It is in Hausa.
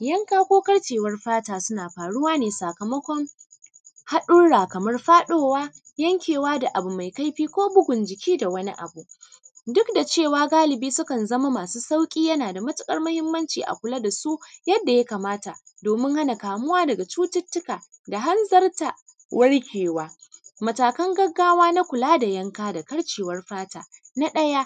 Yanka ko karcewar fata suna faruwa ne sakamakon haɗurra kamar faɗowa, yankewa da abu mai kaifi ko bugun jiki da wani abu. Duk da cewa galibi sukan zama masu sauƙi yana da matuƙar muhimmanci a kula da su yadda ya kamata, domin hana kamuwa daga cututtuka da hanzarta warkewa. Matakan gaggawa na kula da yanka da karcewar fata: na ɗaya,